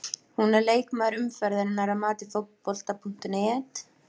Hún er leikmaður umferðarinnar að mati Fótbolta.net.